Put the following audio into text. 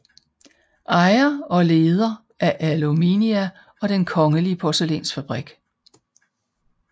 Ejer og leder af Aluminia og Den kongelige Porcelainsfabrik